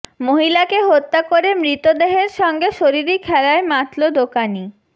মহিলাকে হত্যা করে মৃতদেহের সঙ্গে শরীরী খেলায় মাতল দোকানি